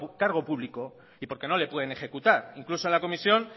cargo público y porque no le pueden ejecutar incluso en la comisión